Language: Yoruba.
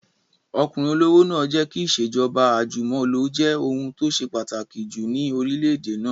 Ọkùnrin olówó náà jẹ́ kí ìṣèjọba àjùmọ̀lo jẹ́ ohun tó ṣe pàtàkì jù ní orílẹ̀-èdè náà